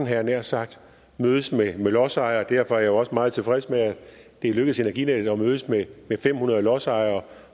jeg nær sagt og mødes med lodsejere og derfor er jeg jo også meget tilfreds med at det er lykkedes energinet at mødes med fem hundrede lodsejere